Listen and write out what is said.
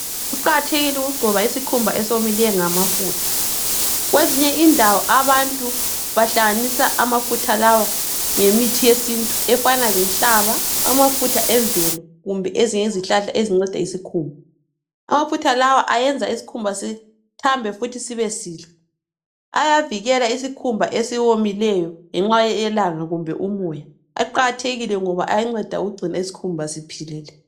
Kuqakathekile ukugcoba isikhumba esomileyo ngamafutha. Kwezinye indawo abantu bahlanganisa amafutha lawa lemithi yesintu efana lenhlaba, amafutha emvelo kumbe ezinye izihlahla ezinceda isikhumba. Amafutha lawa ayenza isikhumba sithambe futhi sibe sihle. Ayavikela isikhumba esiwomileyo ngenxa yelanga kumbe umoya. Aqakathekile ngoba ayanceda ukugcina isikhumba siphilile.